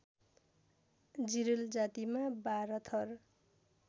जिरेल जातिमा १२ थर